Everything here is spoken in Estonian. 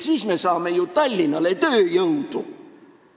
Nii me saame ju Tallinnale tööjõudu.